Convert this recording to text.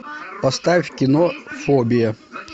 поставь кино фобия